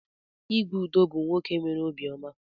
Igwe Udo bu nwoke nwere obi oma.